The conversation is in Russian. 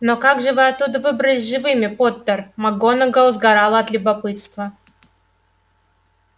но как же вы оттуда выбрались живыми поттер макгонагалл сгорала от любопытства